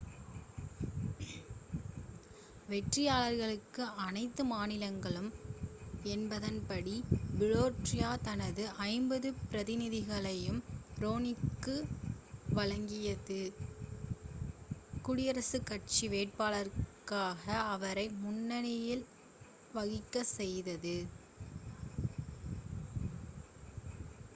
வெற்றியாளருக்கு-அனைத்து மாநிலங்களும் என்பதன் படி புலோரிடா தனது ஐம்பது பிரதிநிதிகளையும் ரோம்னிக்கு வழங்கியது குடியரசுக் கட்சி வேட்பாளராக அவரை முன்னிலை வகிக்கச் செய்தது